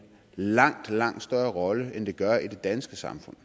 langt langt større rolle end den gør i det danske samfund